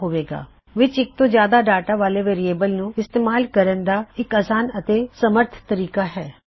variable ਵਿੱਚ ਇੱਕ ਤੋਂ ਜਿਆਦਾ ਡਾਟਾ ਭਰਣ ਦਾ ਇਹ ਬਹੁਤ ਅਸਾਨ ਅਤੇ ਸਮਰੱਥ ਤਰੀਕਾ ਹੈ